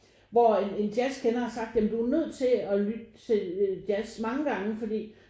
Hvor en jazz kender har sagt ja men du er nødt til at lytte til jazz mange gange fordi